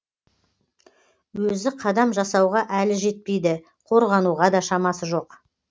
өзі қадам жасауға әлі жетпейді қорғануға да шамасы жоқ